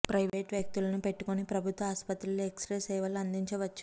private వ్యక్తుల ను పెట్టుకొని ప్రభుత్వ ఆస్పత్రిలో ఎక్స్రే సేవలు అందించవచ్చు